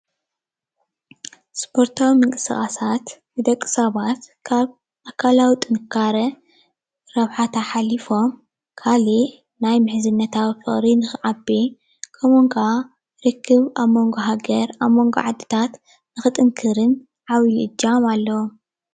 ስፖርታዊ ምንቅስቃሳት ንደቂ ሰባት ካብ አካላዊ ጥንካሬ ረብሓታት ሓሊፎም ካሊእ ናይ ምሕዝነታዊ ፍቅሪ ንክዓቢ ከምኡ እውን ከዓ ርክብ አብ መንጎ ሃገር አብ መንጎ ዓድታት ንክጥንክርን ዓብዪ እጃም አለዎ።